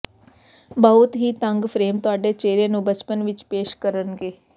ਬਹੁਤ ਹੀ ਤੰਗ ਫਰੇਮ ਤੁਹਾਡੇ ਚਿਹਰੇ ਨੂੰ ਬਚਪਨ ਵਿਚ ਪੇਸ਼ ਕਰਨਗੇ